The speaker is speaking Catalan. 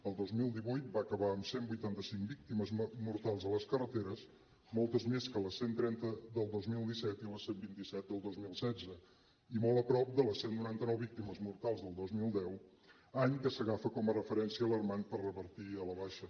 el dos mil divuit va acabar amb cent i vuitanta cinc víctimes mortals a les carreteres moltes més que les cent i trenta del dos mil disset i les cent i vint set del dos mil setze i molt a prop de les cent i noranta nou víctimes mortals del dos mil deu any que s’agafa com a referència alarmant per revertir a la baixa